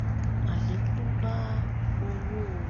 alekun bá owóo